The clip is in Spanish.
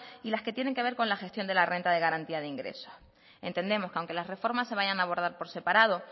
y las que tienen que ver con las gestión de la renta de garantía de ingreso entendemos que aunque la reforma se vayan a abordar por separado